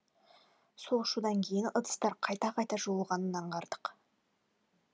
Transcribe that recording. сол шудан кейін ыдыстар қайта қайта жуылғанын аңғардық